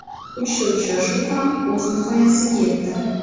Uchta uchrashuv ham o‘z nihoyasiga yetdi.